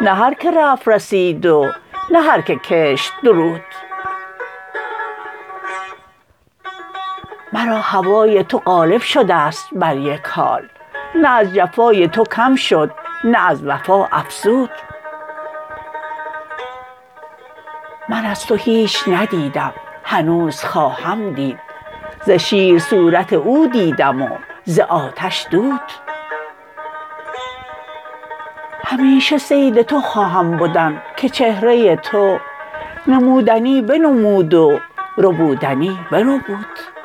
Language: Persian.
نه هر که رفت رسید و نه هر که کشت درود مرا هوای تو غالب شدست بر یک حال نه از جفای تو کم شد نه از وفا افزود من از تو هیچ ندیدم هنوز خواهم دید ز شیر صورت او دیدم و ز آتش دود همیشه صید تو خواهم بدن که چهره تو نمودنی بنمود و ربودنی بربود